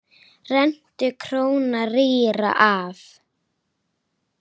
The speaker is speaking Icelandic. Rentu króna rýra gaf.